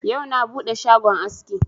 Yau na buɗe shagon aski.